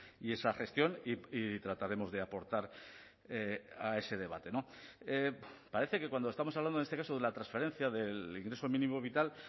y esa gestión y trataremos de aportar a ese debate parece que cuando estamos hablando en este caso de la transferencia del ingreso mínimo vital